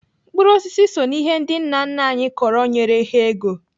Mkpụrụ osisi so n'ihe ndị nna nna anyị kọrọ nyere ha ego.